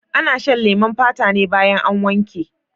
Ana shan leman fata ne baya an wanke.